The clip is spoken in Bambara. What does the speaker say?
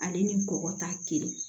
Ale ni kɔkɔ ta kelen